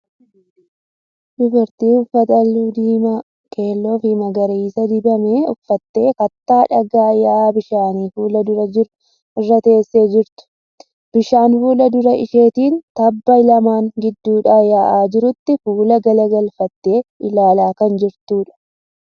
Dubartii uffata halluu diimaa, keelloo fi magariisa dibameeru uffattee kattaa dhagaa yaa'a bishaanii fuula dura jiru irra teessee jirtu. Bishaan fuula dura isheetiin tabba lamaan gidduudhaa yaa'aa jirutti fuula gara galfattee ilaalaa kan jirtudha.